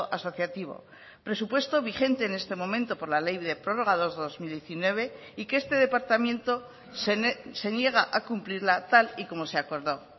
asociativo presupuesto vigente en este momento por la ley de prorrogados dos mil diecinueve y que este departamento se niega a cumplirla tal y como se acordó